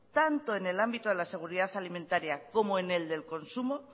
tanto en el ámbito a la seguridad alimentaria como en el del consumo